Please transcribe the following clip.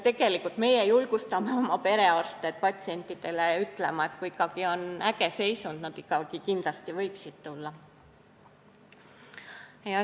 Tegelikult meie julgustame oma perearste patsientidele ütlema, et kui on ikkagi äge seisund, siis nad võiksid küll tulla.